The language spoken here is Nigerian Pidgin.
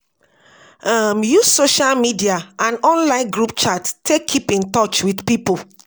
um Use social media and online group chat take keep in touch with pipo